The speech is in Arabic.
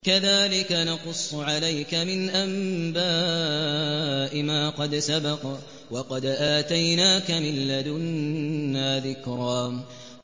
كَذَٰلِكَ نَقُصُّ عَلَيْكَ مِنْ أَنبَاءِ مَا قَدْ سَبَقَ ۚ وَقَدْ آتَيْنَاكَ مِن لَّدُنَّا ذِكْرًا